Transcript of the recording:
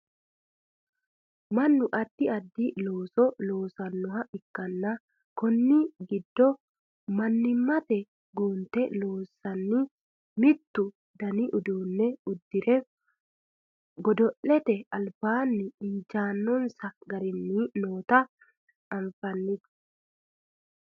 mannu addi addi looso loosannoha ikkanna konni giddo mannimate guunte loosanni mittu dani uddano uddire godo'lete albanni inajjaannonsa garinni noota anafannite